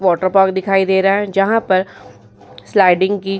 water park दिखाई दे रहा है जहाँ पर स्लाइडिंग की --